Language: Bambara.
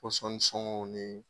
sɔngɔw nin.